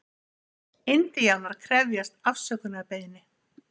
Indíánar krefjast afsökunarbeiðni